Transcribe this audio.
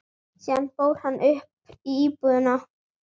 Síðan fór hann upp í íbúðina.